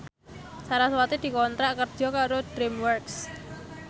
sarasvati dikontrak kerja karo DreamWorks